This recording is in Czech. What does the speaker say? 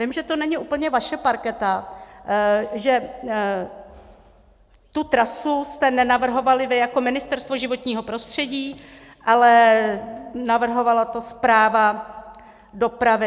Vím, že to není úplně vaše parketa, že tu trasu jste nenavrhovali vy jako Ministerstvo životního prostředí, ale navrhovala to správa dopravy.